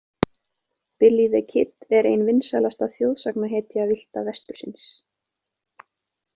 Billy the Kid er ein vinsælasta þjóðsagnahetja Villta vestursins.